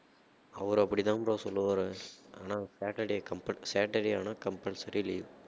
அவர் அப்படிதான் bro சொல்லுவாரு ஆனா saturday compul~ saturday ஆனா compulsory leave